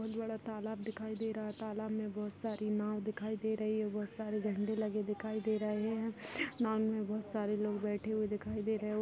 बहोत बड़ा तालाब दिखाई दे रहा है तालाब में बहोत सारी नाव दिखाई दे रही है बहोत सारे झंडे लगे दिखाई दे रहे है नाव में बहोत सारे लोग बैठे हुए दिखाई दे रहे है।